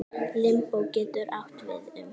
Limbó getur átt við um